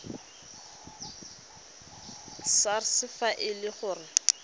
sars fa e le gore